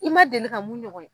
I ma deli ka mun ɲɔgɔn ye